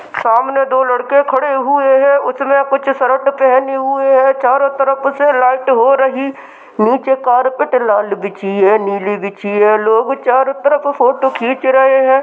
सामने दो लड़के खड़े हुए हैं| उसने कुछ शर्ट पहनी हुई है| चारों तरफ से लाइट हो रही| नीचे कारपेट लाल बिछी है नीली बिछी है लोग चारों तरफ फोटो खींच रहे हैं।